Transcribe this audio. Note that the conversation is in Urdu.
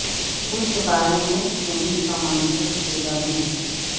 سود کے بارے میں سینٹ کا منظور کردہ بل